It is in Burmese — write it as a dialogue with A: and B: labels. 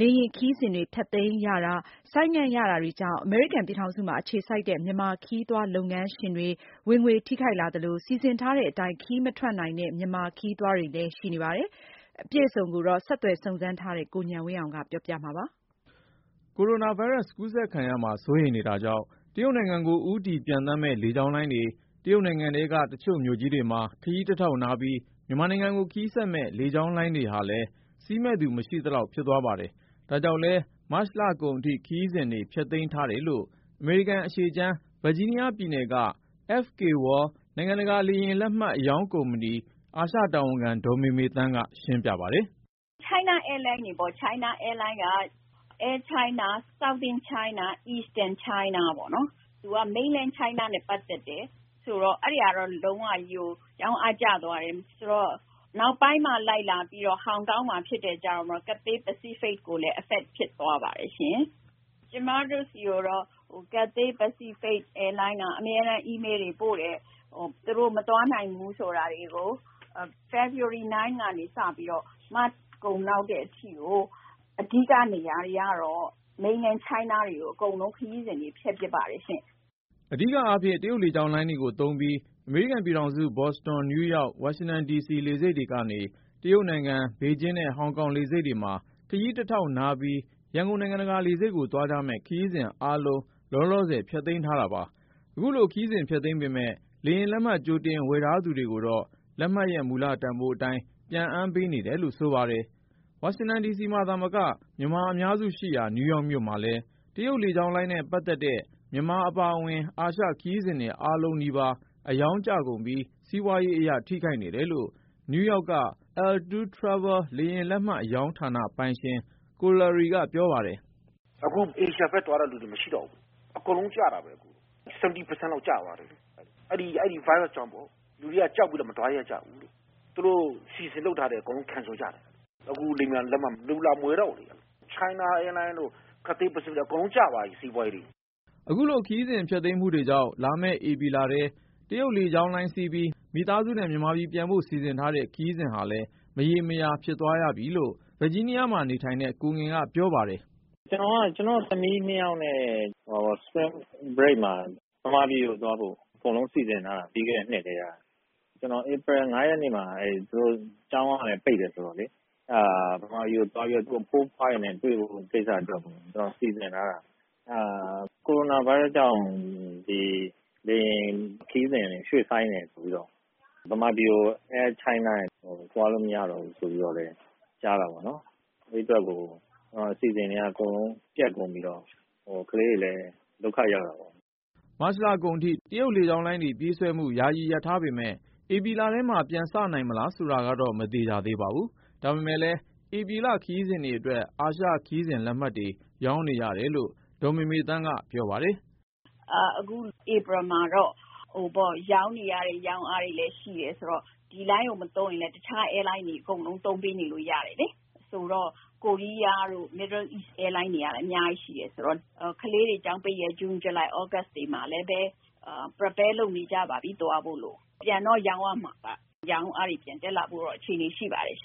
A: လေယာဉ်ခရီးစဉ်တွေ ဖျက်သိမ်းရတာ ဆိုင်းငံ့ရတာတွေကြောင့် အမေရိကန်ပြည်ထောင်စုမှာ အခြေစိုက်တဲ့ မြန်မာခရီးသွားလုပ်ငန်းရှင်တွေ ဝင်ငွေထိခိုက်လာသလို၊ စီစဉ်ထားတဲ့အတိုင်း ခရီးမထွက်နိုင်တဲ့ မြန်မာခရီးသွားတွေလည်း ရှိနေပါတယ်။ အပြည့်အစုံကိုတော့ ဆက်သွယ်စုံစမ်းထားတဲ့ ကိုဉာဏ်ဝင်းအောင်က ပြောပြမှာဖြစ်ပါတယ်။
B: ကိုရိုနာဗိုင်းရပ်စ် ကူးစက်ခံရမှာ စိုးရိမ်နေတာကြောင့် တရုတ်နိုင်ငံကို ဦးတည်ပျံသန်းမယ့် လေကြောင်းလိုင်းတွေ၊ တရုတ်နိုင်ငံထဲက တချို့ မြို့ကြီးတွေမှာ ခရီးတထောက်နားပြီး မြန်မာနိုင်ငံကို ခရီးဆက်မယ့် လေကြောင်းလိုင်းတွေဟာလည်း စီးမယ့်သူ မရှိသလောက်ဖြစ်သွားပါတယ် ဒါကြောင့်လည်း မတ်လအကုန်ထိ ခရီးစဉ်တွေ ဖျက်သိမ်းထားတယ်လို့ အမေရိကန်အရှေ့ခြမ်း ဗာဂျီးနီးယားပြည်နယ်က FK World နိုင်ငံတကာ လေယာဉ်လက်မှတ်ကုမ္ပဏီ အာရှတာဝန်ခံ ဒေါ်မေမေသန်းက ရှင်းပြပါတယ်
A: ။ “ China Airline တွေပေါ့၊ ချိုင်းနားအဲလိုင်းက Air China, Southern China, Eastern China ပေါ့နော်၊ သူက ပြည်မ mainland China နဲ့ပတ်သက်တယ်ဆိုတော့ အဲဒီဟာက လုံးဝကြီးကို ရောင်းအားကျသွားတယ်။ နောက်ပိုင်းမှာ ဟောင်ကောင်မှာဖြစ်လာတယ် ဆိုတဲ့ခါကျမှ Cathay Pacific ကိုလည်းရိုက်ခတ်လာပါတယ်။ ကျမတို့ဆီကိုတော့ Cathay Pacific လေကြောင်းလိုင်းက အမြဲတမ်း Email တွေပို့ပါတယ်။ သူတို့ မသွားနိုင်ဘူး ဆိုတာတွေကို။ ဟို ဖေဖေါ်ဝါရီ ၉ ရက်နေ မတ်လကုန်အထိ တရုတ်ပြည်မကြီးဘက် သွားမယ့်ခရီးစဉ်တွေ အဓိက ဖျက်ပစ်ပါတယ်။ ”
B: အဓိကအားဖြင့် တရုတ်လေကြောင်းလိုင်းတွေသုံးပြီး အမေရိကန်ပြည်ထောင်စု ဘော့စတွန်၊ နယူးယောက်၊ ဝါရှင်တန်ဒီစီ လေဆိပ်တွေကနေ တရုတ်နိုင်ငံ ဘေဂျင်းနဲ့ ဟောင်ကောင်လေဆိပ်တွေမှာ ခရီးတထောက်နားပြီး ရန်ကုန်နိုင်ငံတကာလေဆိပ်ကို သွားကြမယ့် ခရီးစဉ်အားလုံး လောလောဆယ် ဖျက်သိမ်းထားတာပါ။ ခုလို ခရီးစဉ်ဖျက်သိမ်းပေမယ့် လေယာဉ်လက်မှတ်ကြိုတင် ဝယ်ယူထားသူတွေကိုတော့ လက်မှတ်ရဲ့ မူလတန်ဖိုးအတိုင်း ပြန်အမ်းပေးနေတယ်လို့ ဆိုပါတယ်။ ဝါရှင်တန်ဒီစီမှာသာမက မြန်မာအများစုရှိရာ နယူးယောက်မြို့မှာလည်း တရုတ်လေကြောင်းလိုင်းနဲ့ ပတ်သက်တဲ့ မြန်မာအပါအဝင် အာရှ ခရီးစဉ်တွေ အားလုံးနီးပါး အရောင်းကျကုန်ပြီး စီးပွားရေးအရ ထိခိုက်နေတယ်လို့ နယူးယောက်က L 2 Travel လေယာဉ်လက်မှတ် အရောင်းဌာနပိုင်ရှင် ကိုလာရီက ပြောပါတယ်။
C: “ အခု အာရှဘက်သွားတဲ့လူတွေ မရှိတော့ဘူး။ အကုန်ရောင်းအားကျတာပဲ၊ ၇၀% လောက် ကျသွားတယ်။ အဲဒီ ဗိုင်းရပ်စ်ကြောင့်ပေါ့ လူတွေက ကြောက်ပြီးတော့ မသွားရဲကြဘူးလေ။ သူတို့ခရီးသွားဖို့ စီစဉ်ထားတာတွေ အကုန်ဖျက်လိုက်ကြတာ။ အခု လေယာဉ်ပျံ လက်မှတ်ကို လူတွေလာမဝယ်တော့ဘူးဗျ။ China Airline တို့ Cathay Pacific လိုင်းတို့ အကုန်လုံး စီးပွားရေးကျသွားပြီ
B: ။” အခုလို ခရီးစဉ်ဖျက်သိမ်းမှုတွေကြောင့် လာမယ့်ဧပြီလထဲမှာ တရုတ်လေကြောင်းလိုင်းစီးပြီး မိသားစုနဲ့ မြန်မာပြည်ပြန်ဖို့ စီစဉ်ထားတဲ့ ခရီးစဉ် ဟာလည်း မရေမရာ ဖြစ်သွားပြီလို့ ဗာဂျီးနီးယားမှာနေထိုင်တဲ့ ကိုငယ်က ပြ
C: ောပါတယ်။ “ ကျနော်က ကျနော့်သမီး ၂ယောက်နဲ့ Spring Break နွေဦးရာသီကျောင်းပိတ်ရက်မှာ မြန်မာပြည်ကိုသွားဖို့ အကုန်လုံးစီစဉ်ထားတာ ပြီးခဲ့တဲ့ နှစ်ကတည်းက။ ဧပြီ ၅ ရက်နေ့မှာ ကလေးတွေ ကျောင်းကလည်း ပိတ်တယ်ဆိုတော့လေ၊ အဲဒါ မြန်မာပြည်ကိုသွားပြီး သူတို့ အဖိုးအဖွားတွေနဲ့ တွေ့ပေးဖို့ စီစဉ်ထားတာ။ အဲဒါ ကိုရိုနာဗိုင်းရပ်စ်ကြောင့် လေယာဉ်ခရီးစဉ်တွေ ရွှေ့ဆိုင်းတယ်ဆိုပြီးတော့ မြန်မာပြည်ကို Air China တွေ သွားလို့မရတော့ဘူးဆိုပြီးတော့ ကြားတာပေါ့နော်။ အဲဒီအတွက်ကို အစီအစဉ်တွေက အကုန် ပျက်ကုန်ပြီးတော့ ကလေးတွေလည်း ဒုက္ခရောက်တာပေါ့။
B: ” မတ်လကုန်အထိ တရုတ်လေကြောင်းလိုင်းတွေ ပြေးဆွဲမှု ယာယီရပ်ထားပေမဲ့ ဧပြီလထဲမှာ ပြန်စနိုင်မလားဆိုတာကတော့ မသေချာသေး ပါဘူး။ ဒါပေမဲ့လည်း ဧပြီလ ခရီးစဉ်တွေအတွက် အာရှခရီးစဉ်လက်မှတ်တွေ ရောင်းနေရတယ်လို့ ဒေါ်မေမေသန်းက ပြောပါတယ်
A: ။ “အခု ဧပြီမှာတော့ ရောင်းနေရတဲ့ ရောင်းအားတွေ ရှိတယ်ဆိုတော့ ဒီ လိုင်းကို မသုံးရင်လည်း အခြားလိုင်းတွေ သုံးလို့ ရနေတယ် လေ။ ဆိုတော့ ကိုရီးယားတို့ အရှေ့အလယ်ပိုင်း နိုင်ငံက လေကြောင်းလိုင်းတွေကလည်း အများကြီးရှိတာဆိုတော့ ဒီက ကလေးတွေ ကျောင်းပိတ်ရက် ဇွန်၊ ဇူလိုင်၊ သြဂုတ်လတွေမှာလည်းပဲ သွားဖို့လို့ ပြင်ဆင်နေကြပါပြီ။ လက်မှတ် ပြန်တော့ ရောင်းရမှာပါ။ ရောင်းအားတွေ ပြန်တက်လာဖို့တော့ အခြေအနေ ရှိပါတယ်။”